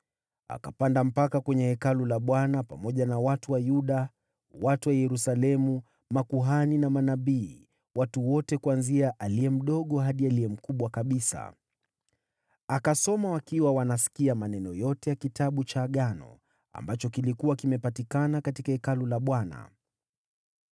Akapanda kwenda hekaluni mwa Bwana pamoja na watu wa Yuda, watu wa Yerusalemu, makuhani na manabii, watu wote wakubwa kwa wadogo. Akasoma wakiwa wanasikia maneno yote ya Kitabu cha Agano, ambacho kilikuwa kimepatikana katika Hekalu la Bwana .